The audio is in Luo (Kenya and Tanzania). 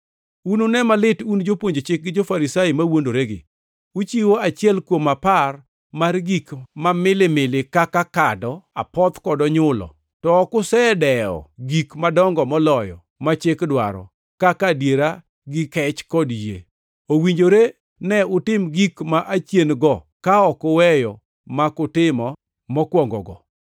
“Unune malit un jopuonj chik gi jo-Farisai mawuondoregi! Uchiwo achiel kuom apar mar gik ma milimili kaka kado, apoth kod onyulo. To ok usedewo gik madongo moloyo ma chik dwaro, kaka adiera gi kech kod yie. Owinjore ne utim gik ma achien-go ka ok uweyo mak utimo mokwongogo.